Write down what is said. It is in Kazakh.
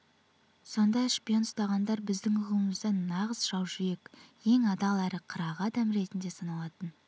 сонда шпион ұстағандар біздің ұғымымызда нағыз жаужүрек ең адал әрі қырағы адам ретінде саналатын